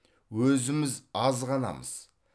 өзіміз аз ғанамыз